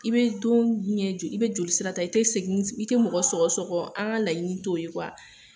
I be don ɲɛ jo i be joli sira ta, i te segini s i te mɔgɔ sɔgɔ-sɔgɔ, an ŋa laɲini t'o ye .